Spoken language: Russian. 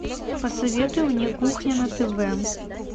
посоветуй мне кухня на тв